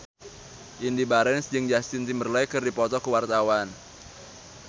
Indy Barens jeung Justin Timberlake keur dipoto ku wartawan